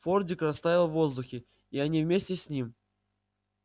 фордик растаял в воздухе и они вместе с ним